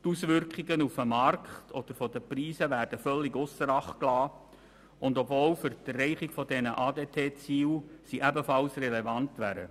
Die Auswirkungen auf den Markt und die Preise werden völlig ausser Acht gelassen, obwohl sie für die Erreichung der ADT-Ziele ebenfalls relevant wären.